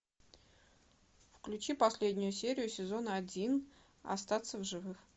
включи последнюю серию сезона один остаться в живых